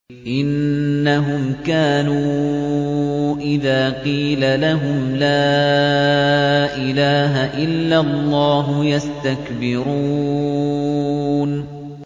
إِنَّهُمْ كَانُوا إِذَا قِيلَ لَهُمْ لَا إِلَٰهَ إِلَّا اللَّهُ يَسْتَكْبِرُونَ